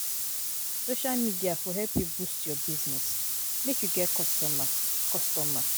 Social media for help you boost your business, make you get customer. customer.